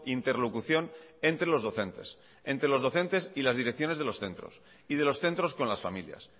interlocución entre los docentes entre los docentes y las direcciones de los centros y de los centros con las familias